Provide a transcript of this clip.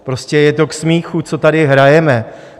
Prostě je to k smíchu, co tady hrajeme.